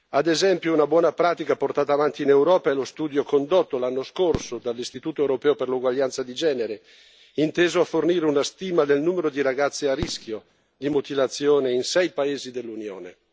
Ad esempio, una buona pratica portata avanti in Europa è lo studio condotto l'anno scorso dall'Istituto europeo per l'uguaglianza di genere, inteso a fornire una stima del numero di ragazze a rischio di mutilazione in sei paesi dell'Unione.